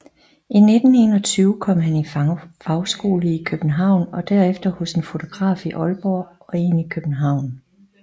I 1921 kom han i fagskole i København og derefter hos en fotograf i Aalborg og en i København